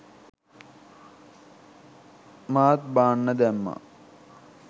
මාත් බාන්න දැම්මා